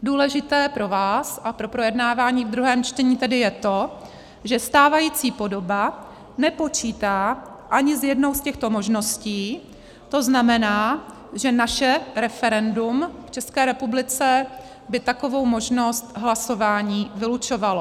Důležité pro vás a pro projednávání v druhém čtení tedy je to, že stávající podoba nepočítá ani s jednou z těchto možností, to znamená, že naše referendum v České republice by takovou možnost hlasování vylučovalo.